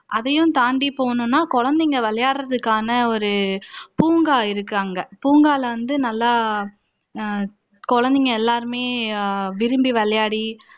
அதையும் தாண்டி போகணும்னா குழந்தைங்க விளையாடுறதுக்கான பூங்கா இருக்கு அங்க பூங்கால வந்து நல்லா குழந்தைங்க எல்லாருமே விரும்பி விளையாடி